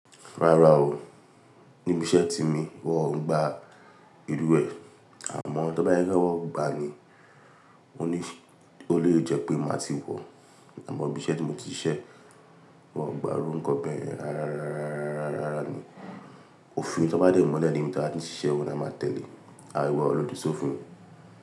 Rárá o, níbi iṣẹ́ tí mi wọ́n ń gba ìlúwẹ̀ẹ́. Amọ tó bá sé pé wọn gbá ni O ní, o lè jẹ́ pé máa ti wọ̀, àmọ́ ibi iṣẹ́ tí mo ti ń ṣiṣẹ́, wọ́n ò gba irú nkán bẹ rárá, rárá, rárá, rárá ni. Òfin tí wọ́n bá dè múlẹ̀ níbi tí a bá ti ń ṣiṣẹ́ óùn ni a máa tẹ̀lé. A dẹ gbọdọ́ lódi ṣófin.